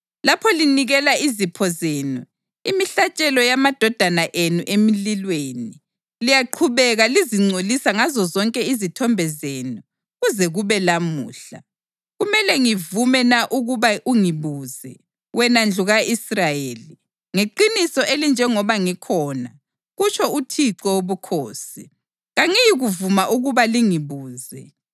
Lapho linikela izipho zenu, imihlatshelo yamadodana enu emlilweni, liyaqhubeka lizingcolisa ngazozonke izithombe zenu kuze kube lamhla. Kumele ngivume na ukuba ungibuze, wena ndlu ka-Israyeli? Ngeqiniso elinjengoba ngikhona, kutsho uThixo Wobukhosi, kangiyikuvuma ukuba lingibuze.